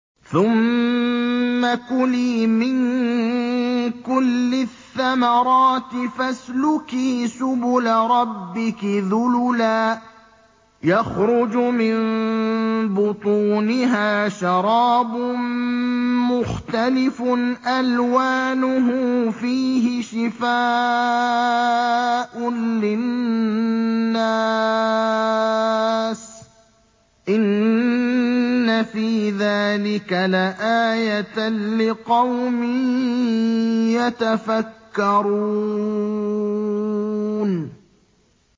ثُمَّ كُلِي مِن كُلِّ الثَّمَرَاتِ فَاسْلُكِي سُبُلَ رَبِّكِ ذُلُلًا ۚ يَخْرُجُ مِن بُطُونِهَا شَرَابٌ مُّخْتَلِفٌ أَلْوَانُهُ فِيهِ شِفَاءٌ لِّلنَّاسِ ۗ إِنَّ فِي ذَٰلِكَ لَآيَةً لِّقَوْمٍ يَتَفَكَّرُونَ